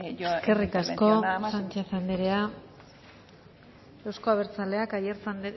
en mi intervención nada más y muchas gracias eskerrik asko sánchez andrea euzko abertzaleak aiartza